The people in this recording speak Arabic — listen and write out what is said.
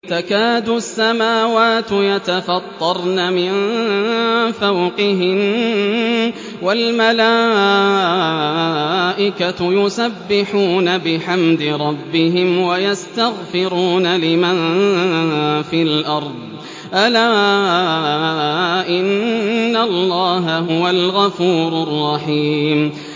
تَكَادُ السَّمَاوَاتُ يَتَفَطَّرْنَ مِن فَوْقِهِنَّ ۚ وَالْمَلَائِكَةُ يُسَبِّحُونَ بِحَمْدِ رَبِّهِمْ وَيَسْتَغْفِرُونَ لِمَن فِي الْأَرْضِ ۗ أَلَا إِنَّ اللَّهَ هُوَ الْغَفُورُ الرَّحِيمُ